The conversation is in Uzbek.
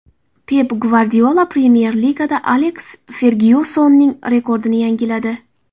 Pep Gvardiola Premyer Ligada Aleks Fergyusonning rekordini yangiladi.